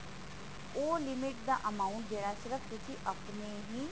ਓਹ limit ਦਾ amount ਜੋ ਹੈ ਸਿਰਫ ਤੁਸੀਂ ਆਪਣੇ ਹੀ